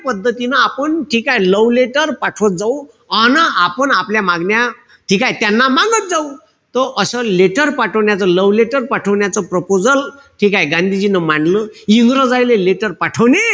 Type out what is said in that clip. पद्धतीनं आपण ठीकेय, love letter पाठवत जाऊ. अन आपण आपल्या मागण्या ठीकेय? त्यांना मांगत जाऊ. तो असं letter पाठवण्याचं love letter पाठवण्याचं proposal ठीकेय? गांधीजींनी मानलं. इंग्रजायले letter पाठवली.